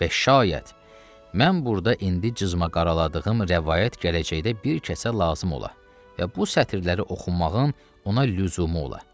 Və şayət, mən burda indi cızmaq-qaraladığım rəvayət gələcəkdə bir kəsə lazım ola və bu sətirləri oxumağın ona lüzumu ola.